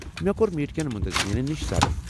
مےٚ کو٘ر میٹ كیٚن منتظمینن نِش سرٕ ۔